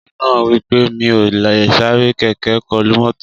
Ọkùnrin náà wí pé Mi ò lè sáré kẹ̀kẹ́ kọlu mọ́tò